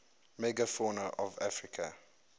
megafauna of africa